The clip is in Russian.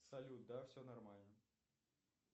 салют да все нормально